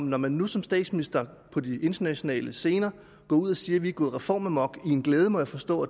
når man nu som statsminister på de internationale scener går ud og siger at vi er gået reformamok i en glæde må jeg forstå